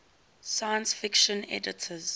science fiction editors